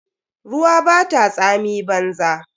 Ruwa bata tsami banza.